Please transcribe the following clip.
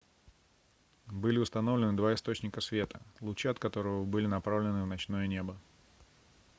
были установлены два источника света лучи от которых были направлены в ночное небо